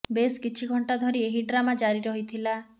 ବେଶ କିଛି ଘଂଟା ଧରି ଏହି ଡ୍ରାମା ଜାରି ରହିଥିଲା